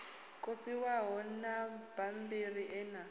kopiwaho na mabammbiri e a